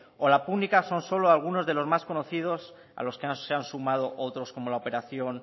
o la púnica son solo algunos de los más conocidos a los que se han sumado otros como la operación